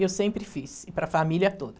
E eu sempre fiz, e para a família toda.